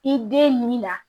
I den min na